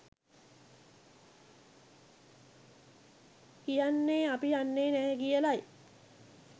කියන්නෙ අපි යන්නෙ නැහැ කියලයි